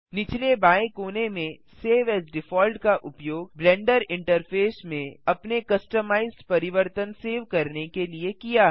निचले बाएं कोने में सेव एएस डिफॉल्ट का उपयोग ब्लेंडर इंटरफ़ेस में अपने कस्टमाइज्ड परिवर्तन सेव करने के लिए किया है